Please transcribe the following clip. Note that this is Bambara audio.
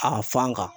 A fan kan